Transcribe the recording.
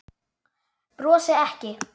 Brosi ekki.